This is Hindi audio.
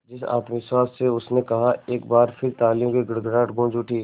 जिस आत्मविश्वास से उसने कहा एक बार फिर तालियों की गड़गड़ाहट गूंज उठी